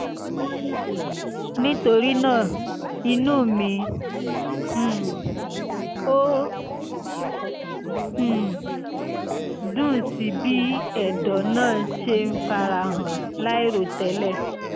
nítorí náà inú mi um ò um dùn sí bí ẹ̀dọ̀ náà ṣe ń fara hàn láìròtẹ́lẹ̀